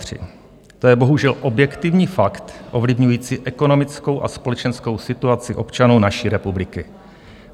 To je bohužel objektivní fakt ovlivňující ekonomickou a společenskou situaci občanů naší republiky.